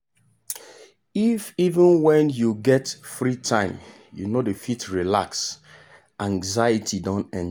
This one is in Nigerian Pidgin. if even when you get free time you no fit relax anxiety don enter.